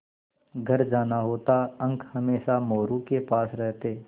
घर जाना होता अंक हमेशा मोरू के पास रहते